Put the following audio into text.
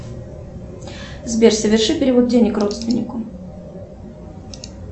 сбер соверши перевод денег родственнику